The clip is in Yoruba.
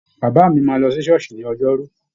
Bàbá mi máa lọ sí ṣọ́ọ̀ṣì ní Ọjọ́rú.